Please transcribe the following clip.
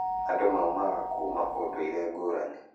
Andũ maumaga kũuma ũndũire ngũranĩ